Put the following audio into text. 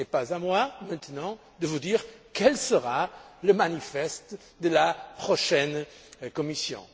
Mais ce n'est pas à moi, maintenant, de vous dire quel sera le manifeste de la prochaine Commission.